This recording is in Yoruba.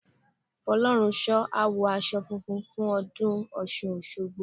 Fọlọ́runṣọ́ á wọ aṣọ funfun fún ọdún Ọ̀ṣun Òṣogbo.